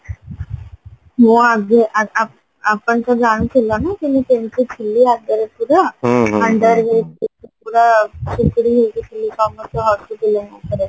ମୁଁ ଆଗେ ଆ ଆ ଆପଣ ତ ଜାଣୁଥିଲେ ନାଁ କି ମୁଁ କେମିତ ଥିଲି ଆଗେ ପୁରା ପୁରା ଶୁକୁଟି ହେଇକି ହତିଲି ସମସ୍ତେ ହସୁଥିଲେ ମୋ ଉପରେ